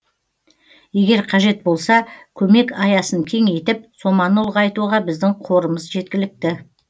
егер қажет болса көмек аясын кеңейтіп соманы ұлғайтуға біздің қорымыз жеткілікті